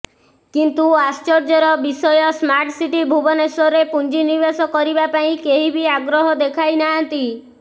କିନ୍ତୁ ଆଶ୍ଚର୍ଯ୍ୟର ବିଷୟ ସ୍ମାର୍ଟ ସିଟି ଭୁବେନଶ୍ବରରେ ପୁଞ୍ଜିନିବେଶ କରିବା ପାଇଁ କେହି ବି ଆଗ୍ରହ ଦେଖାଇନାହାନ୍ତି